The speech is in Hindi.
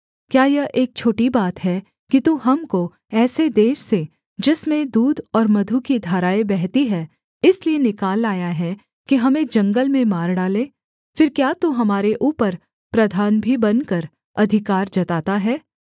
क्या यह एक छोटी बात है कि तू हमको ऐसे देश से जिसमें दूध और मधु की धाराएँ बहती है इसलिए निकाल लाया है कि हमें जंगल में मार डालें फिर क्या तू हमारे ऊपर प्रधान भी बनकर अधिकार जताता है